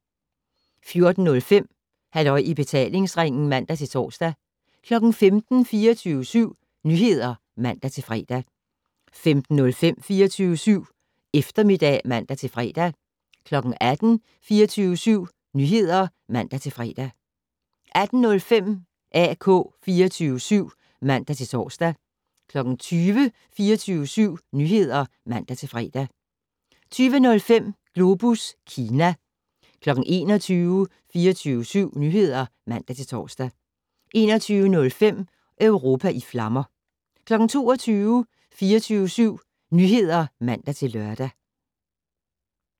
14:05: Halløj i betalingsringen (man-tor) 15:00: 24syv Nyheder (man-fre) 15:05: 24syv Eftermiddag (man-fre) 18:00: 24syv Nyheder (man-fre) 18:05: AK 24syv (man-tor) 20:00: 24syv Nyheder (man-fre) 20:05: Globus Kina 21:00: 24syv Nyheder (man-tor) 21:05: Europa i flammer 22:00: 24syv Nyheder (man-lør)